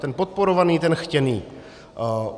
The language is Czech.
Ten podporovaný, ten chtěný.